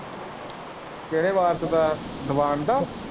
ਕਿਹੜੇ ਵਾਰਸ ਦਾ ਦੀਵਾਨ ਦਾ।